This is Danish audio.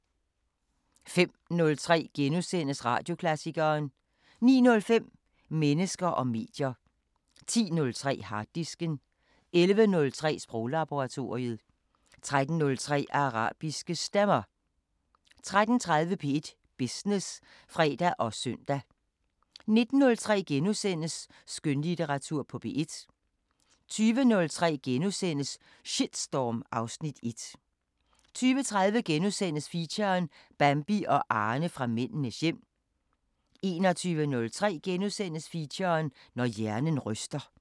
05:03: Radioklassikeren * 09:05: Mennesker og medier 10:03: Harddisken 11:03: Sproglaboratoriet 13:03: Arabiske Stemmer 13:30: P1 Business (fre og søn) 19:03: Skønlitteratur på P1 * 20:03: Shitstorm (Afs. 1)* 20:30: Feature: Bambi og Arne fra Mændenes hjem * 21:03: Feature: Når hjernen ryster *